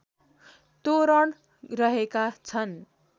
तोरण रहेका छन्